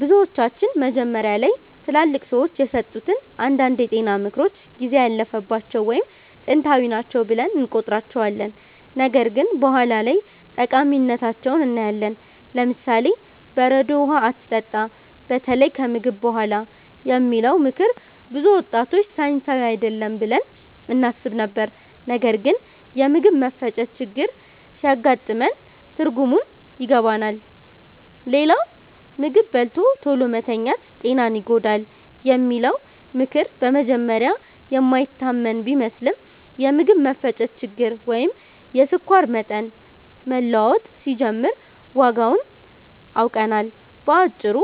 ብዙዎቻችን መጀመሪያ ላይ ትላልቅ ሰዎች የሰጡትን አንዳንድ የጤና ምክሮች ጊዜ ያለፈባቸው ወይም ጥንታዊ ናቸው ብለን እንቆጥራቸዋለን፣ ነገር ግን በኋላ ላይ ጠቃሚነታቸውን እናያለን። ለምሳሌ፦ "በረዶ ውሃ አትጠጣ፣ በተለይ ከምግብ በኋላ" የሚለው ምክር ብዙ ወጣቶች ሳይንሳዊ አይደለም ብለን እናስብ ነበር፣ ነገር ግን የምግብ መፈጨት ችግር ሲያጋጥመን ትርጉሙን ይገባናል። ሌላው "ምግብ በልቶ ቶሎ መተኛት ጤናን ይጎዳል" የሚለው ምክር በመጀመሪያ የማይታመን ቢመስልም፣ የምግብ መፈጨት ችግር ወይም የስኳር መጠን መለዋወጥ ሲጀምር ዋጋውን አውቀናል። በአጭሩ